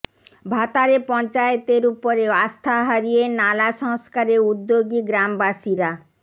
ভাতারে পঞ্চায়েতের উপরে আস্থা হারিয়ে নালা সংস্কারে উদ্যোগী গ্রামবাসীরা